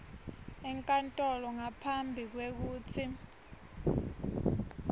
enkantolo ngaphambi kwekutsi